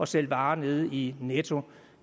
sælge varer nede i netto